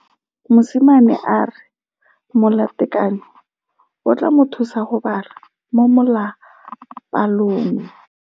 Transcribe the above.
Mosimane a re molatekanyô o tla mo thusa go bala mo molapalong.